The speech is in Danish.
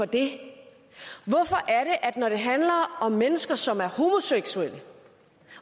det at når det handler om mennesker som er homoseksuelle